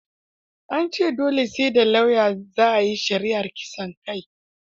An ce dole sai da lauya za a yi shari'ar kisaan kai.